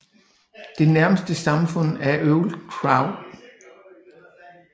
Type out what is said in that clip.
Det nærmeste samfund er Old Crow